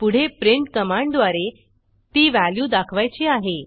पुढे प्रिंट कमांडद्वारे ती व्हॅल्यू दाखवायची आहे